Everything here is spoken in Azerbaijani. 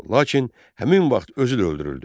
Lakin həmin vaxt özü də öldürüldü.